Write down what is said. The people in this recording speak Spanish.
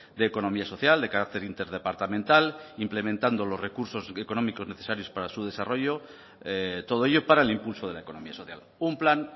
de economía social de carácter interdepartamental implementando los recursos económicos necesarios para su desarrollo todo ello para el impulso de la economía social un plan